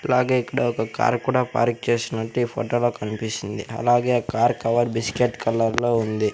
అలాగే ఇక్కడ ఒక కారు కూడా పార్క్ చేసినట్టు ఈ ఫోటో లో కన్పిస్తుంది అలాగే ఆ కార్ కవర్ బిస్కెట్ కలర్లో ఉంది.